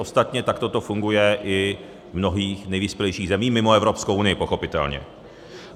Ostatně takto to funguje i v mnohých nejvyspělejších zemích, mimo Evropskou unii pochopitelně.